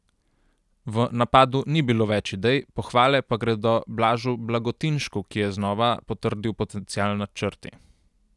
V napadu ni bilo več idej, pohvale pa gredo Blažu Blagotinšku, ki je znova potrdil potencial na črti.